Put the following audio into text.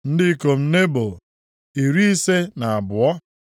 Ndị ikom Nebo, iri ise na abụọ (52).